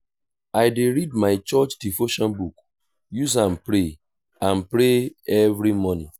i dey read my church devotion book use am pray am pray every morning.